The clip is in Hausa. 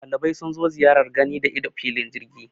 Dalibai sun zo ziyar gani da ido filin jirgi